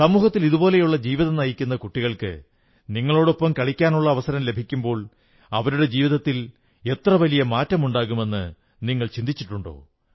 സമൂഹത്തിൽ ഇതുപോലെയുള്ള ജീവിതം നയിക്കുന്ന കുട്ടികൾക്ക് നിങ്ങളോടൊപ്പം കളിക്കാനുള്ള അവസരം ലഭിക്കുമ്പോൾ അവരുടെ ജീവിതത്തിൽ എത്ര വലിയ മാറ്റമുണ്ടാകുമെന്നു നിങ്ങൾ ചിന്തിട്ടിട്ടുണ്ടോ